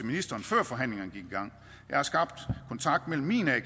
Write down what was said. ministeren før forhandlingerne gik i gang jeg har skabt kontakt mellem min a